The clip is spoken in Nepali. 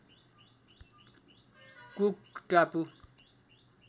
कुक टापु